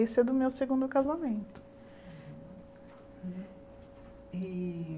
Esse é do meu segundo casamento. E